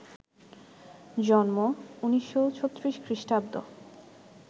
জন্মঃ ১৯৩৬ খ্রিস্টাব্দ